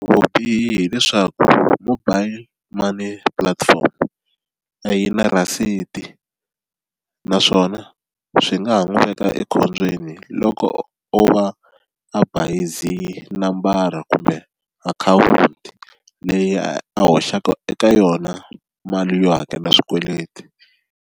Vubihi leswaku mobile money platform a yi na rhasiti naswona swi nga ha n'wi veka ekhombyeni loko o va a bayizi nambara kumbe akhawunti leyi a hoxaka eka yona mali yo hakela swikweleti.